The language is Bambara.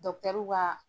ka